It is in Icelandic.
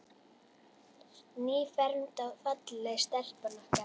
Nýfermd og falleg stelpan okkar.